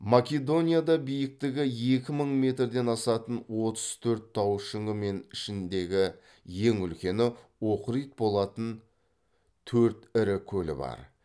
македонияда биіктігі екі мың метрден асатын отыз төрт тау шыңы мен ішіндегі ең үлкені охрид болатын төрт ірі көл бар